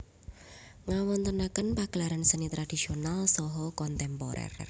Ngawontenaken pagelaran seni tradisonal saha kontemporer